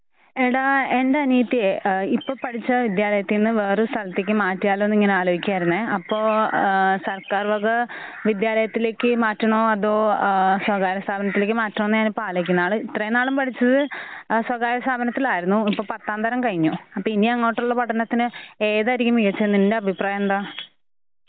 എടാ എൻ്റെനിയത്തിയെ ഏഹ് ഇപ്പപഠിച്ച വിദ്യാലയതീന്ന് വേറെ സ്ഥലത്തേക്ക് മാറ്റിയാലോന്ന് ഇങ്ങനെ ആലോയിക്കുവാരുന്നെ. അപ്പോ ഏഹ് സർക്കാർ വക വിദ്യാലയത്തിലേക്ക് മാറ്റണോ അതോ ഏഹ് സ്വകാര്യ സ്ഥാപനത്തിലേക്ക് മാറ്റണോന്നാ ഞാനിപ്പം ആലോയിക്കുന്നെ. ആള് ഇത്രേംനാളും പഠിച്ചത് സ്വകാര്യസ്ഥാപനത്തിലായിരുന്നു . ഇപ്പം പത്താം തരാം കഴിഞ്ഞു. ആപ്പ ഇനിയങ്ങോട്ടുള്ള പഠനത്തിന് ഏതായിരിക്കും മികച്ചത് നിന്റഭിപ്രായന്താ?